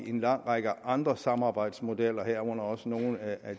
en lang række andre samarbejdsmodeller herunder også nogle af